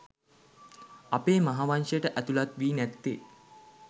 අපේ මහාවංශයට ඇතුළත් වී නැත්තේ